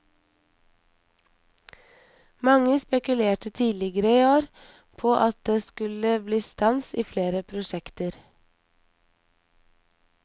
Mange spekulerte tidligere i år på at det skulle bli stans i flere prosjekter.